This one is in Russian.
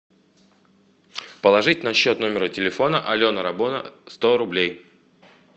положить на счет номера телефона алена работа сто рублей